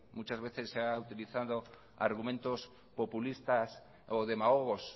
muchas veces se han utilizado argumentos populistas o demagogos